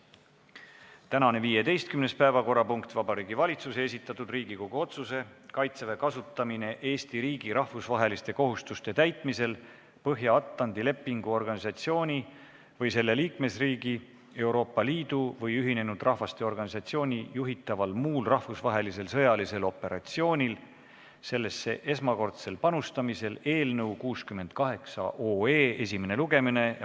Tänane 15. päevakorrapunkt on Vabariigi Valitsuse esitatud Riigikogu otsuse "Kaitseväe kasutamine Eesti riigi rahvusvaheliste kohustuste täitmisel Põhja-Atlandi Lepingu Organisatsiooni või selle liikmesriigi, Euroopa Liidu või Ühinenud Rahvaste Organisatsiooni juhitaval muul rahvusvahelisel sõjalisel operatsioonil sellesse esmakordsel panustamisel" eelnõu 68 esimene lugemine.